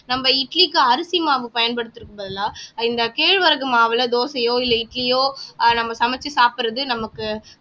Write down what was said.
நம்ம இட்லிக்கு அரிசி மாவு பயன்படுத்துறதுக்கு பதிலா இந்த கேழ்வரகு மாவுல தோசையோ இல்ல இட்லியோ நம்ம சமெச்சு சாப்பிடுறது நமக்கு